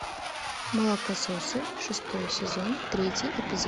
молокососы шестой сезон третий эпизод